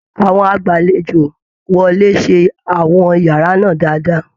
Àwọn agbalejo wọlé ṣe àwọn yàrá náà dáadáa